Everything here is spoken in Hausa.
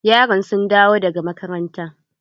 Yaran sun dawo daga makaranta?